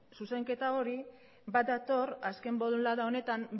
zuzenketa hori bat dator azken bolada honetan